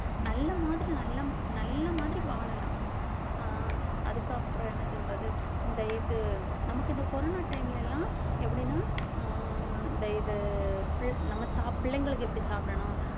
நல்ல மாதிரி நல்லம் நல்ல மாதிரி வாழலாம் அஹ் அதுக்கப்புறம் என்ன சொல்றது இந்த இது நமக்கு இந்த corona time ல எல்லாம் எப்படின்னா அஹ் இந்த இது பிள்~ நம்ம சாப்~ பிள்ளைங்களுக்கு எப்படி சாப்பிடணும்